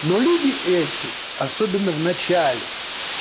но люди эти особенно в начале